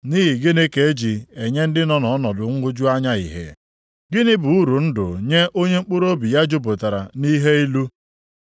“Nʼihi gịnị ka e ji enye ndị nọ nʼọnọdụ nhụju anya ìhè? Gịnị bụ uru ndụ nye onye mkpụrụobi ya jupụtara nʼihe ilu?